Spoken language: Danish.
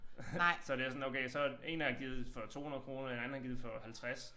Så det er sådan okay så én har givet for 200 kroner en anden har givet for 50